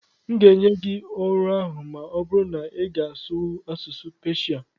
m ga-enye gị ọrụ ahụ ma ọ bụrụ na ịga asụwu asụsụ Peshia